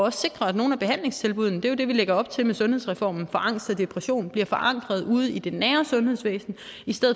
at sikre at nogle af behandlingstilbuddene det er jo det vi lægger op til med sundhedsreformen for angst og depression bliver forankret ude i det nære sundhedsvæsen